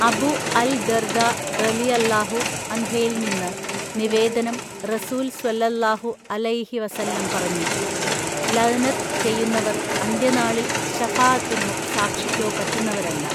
അബു അൽ ദ്ദർദാ റളിയല്ലാഹു അൻഹയിൽ നിന്ന് നിവേദനം, റസൂൽ സ്വല്ലള്ളാഹു അലയിഹി വസല്ലം പറഞ്ഞു, ലഅ്നത്ത് ചെയ്യുന്നവർ അന്ത്യനാളിൽ ശഫാഅത്തിനോ സാക്ഷിക്കോ പറ്റുന്നവരല്ല.